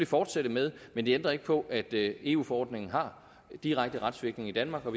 fortsætte med men det ændrer ikke på at eu forordningen har direkte retsvirkning i danmark og